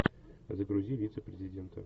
загрузи вицепрезидента